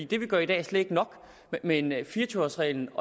det vi gør i dag er slet ikke nok men fire og tyve års reglen